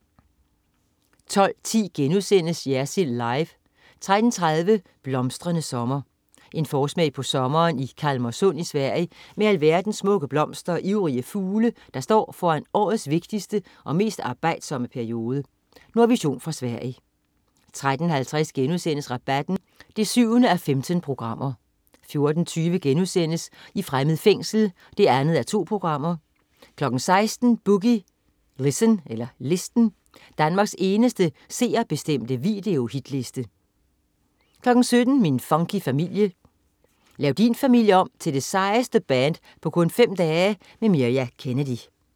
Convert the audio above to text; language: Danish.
12.10 Jersild Live* 13.30 Blomstrende sommer. En forsmag på sommeren i Kalmarsund i Sverige med alverdens smukke blomster og ivrige fugle, der står foran årets vigtigste og mest arbejdsomme periode. Nordvision fra Sverige 13.50 Rabatten 7:15* 14.20 I fremmed fængsel 2:2* 16.00 Boogie Listen. Danmarks eneste seerbestemte videohitliste 17.00 Min funky familie. Lav din familie om til det sejeste band på kun 5 dage! Mirja Kennedy